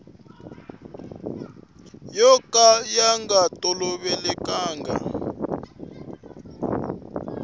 yo ka ya nga tolovelekanga